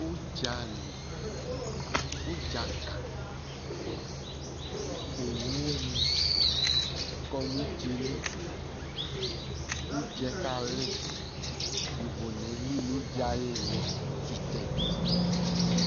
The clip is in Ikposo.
Ʋdzali, ʋdza ka, owu ni kɔ nʋ ʋdza yɛ li kʋ ʋdza yɛ kali Yovo enye eli nʋ ʋdza ayʋ ìlí distant, distant